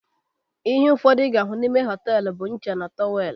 Ihe ụfọdụ ị ga-afụ n'ime họtelu bụ ncha na tọwelu